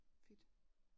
Fedt